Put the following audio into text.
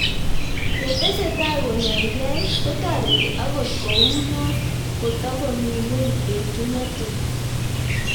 Ye tesetai konyaig'ei ko tareti akot kou noo ko tokomii ng'weny etunatet